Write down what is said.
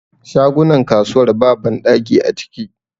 Shagunan kasuwar ba banɗaki a ciki